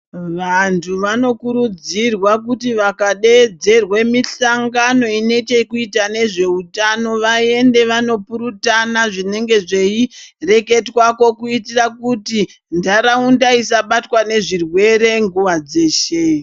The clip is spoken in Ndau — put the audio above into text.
Vanthu vanokurudzirwa kuti vakadeedzerwe mihlangano ine chekuita nezveutano vaende vandopurutana zvinenge zveireketwako kuitira kuti ntharaunda isabatwa nezvirwere nguwa dzeshe.